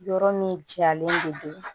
Yɔrɔ min jalen de don